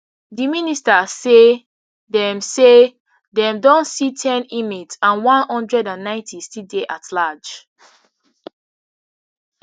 di minister say dem say dem don see ten inmates and one hundred and nine still dey at large